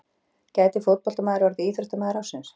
Gæti fótboltamaður orðið íþróttamaður ársins?